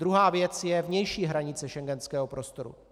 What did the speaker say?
Druhá věc je vnější hranice schengenského prostoru.